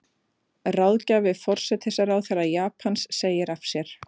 Ráðgjafi forsætisráðherra Japans segir af sér